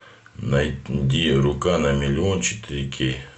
найди рука на миллион четыре кей